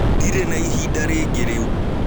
Ndĩrĩ na ĩhĩda rĩngĩ rĩũ.